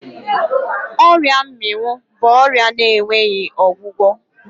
Ọrịa mmịnwụ bụ ọrịa na-enweghi ọgwụgwọ